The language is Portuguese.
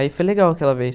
Aí foi legal aquela vez.